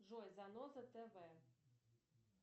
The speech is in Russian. джой заноза тв